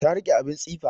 Ta riƙe abun tsifa